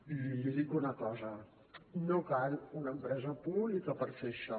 i li dic una cosa no cal una empresa pública per fer això